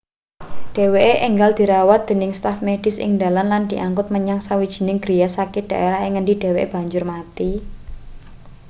dheweke enggal dirawat dening staf medis ing dalan lan diangkut menyang sawijining griya sakit daerah ing ngendi dheweke banjur mati